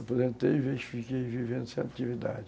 Aposentei e fiquei vivendo sem atividade.